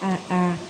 A a